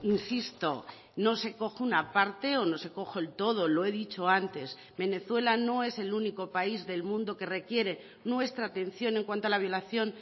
insisto no se coge una parte o no se coge el todo lo he dicho antes venezuela no es el único país del mundo que requiere nuestra atención en cuanto a la violación